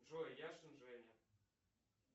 джой яшин женя